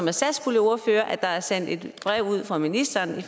er satspuljeordfører ved at der er sendt et brev ud fra ministeren